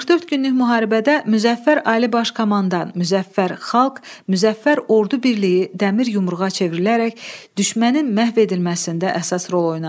44 günlük müharibədə Müzəffər Ali Baş Komandan, Müzəffər Xalq, Müzəffər Ordu birliyi Dəmir yumruğa çevrilərək düşmənin məhv edilməsində əsas rol oynadı.